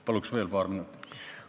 Palun veel paar minutit!